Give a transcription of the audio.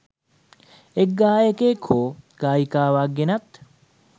එක් ගායකයෙක් හෝ ගායිකාවක් ගෙනත්